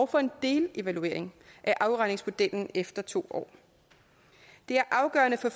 for en delevaluering af afregningsmodellen efter to år det er afgørende for